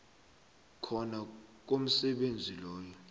khona komsebenzi loyo